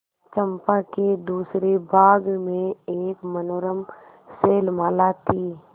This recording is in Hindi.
चंपा के दूसरे भाग में एक मनोरम शैलमाला थी